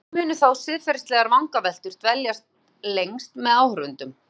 Líklega munu þó siðfræðilegar vangaveltur dvelja lengst með áhorfendum.